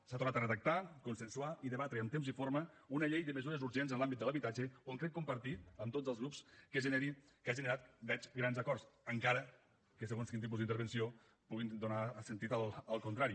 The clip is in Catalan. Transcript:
s’ha tornat a redactar consensuar i debatre amb temps i forma una llei de mesures urgents en l’àmbit de l’habitatge on crec compartir amb tots els grups que ha generat ho veig grans acords encara que segons quin tipus d’intervenció pugui donar sentit al contrari